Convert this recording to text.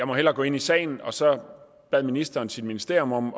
måtte gå ind i sagen så bad ministeren sit ministerium om